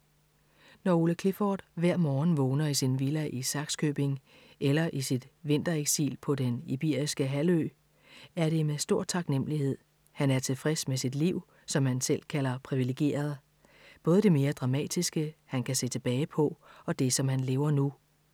Når Ole Clifford hver morgen vågner i sin villa i Sakskøbing eller i sit vintereksil på den iberiske halvø, er det med stor taknemmelighed. Han er tilfreds med sit liv, som han selv kalder privilegeret. Både det mere dramatiske, han kan se tilbage på, og det som han lever nu.